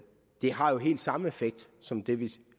har helt samme effekt som den vi